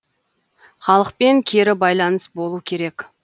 халықпен кері байланыс болу керек